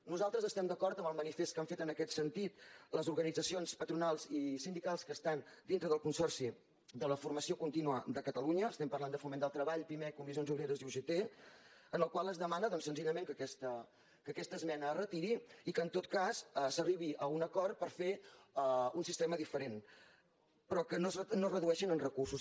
nosaltres estem d’acord amb el manifest que han fet en aquest sentit les organitzacions patronals i sindicals que estan dintre del consorci de la formació contínua de catalunya estem parlant de foment del treball pimec comissions obreres i ugt en el qual es demana doncs senzillament que aquesta esmena es retiri i que en tot cas s’arribi a un acord per fer un sistema diferent però que no es redueixi en recursos